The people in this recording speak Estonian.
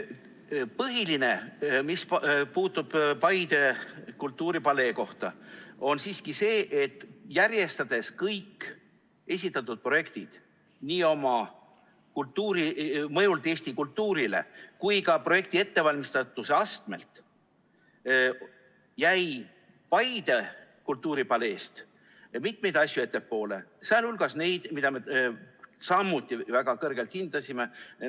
Põhiline, mis puudutab Paide kultuuripaleed, on siiski see, et järjestades kõik esitatud projektid nii oma mõjult Eesti kultuurile kui ka projekti ettevalmistatuse astmelt, jäi Paide kultuuripaleest mitmeid asju ettepoole, sh neid, mida me samuti väga kõrgelt hindasime.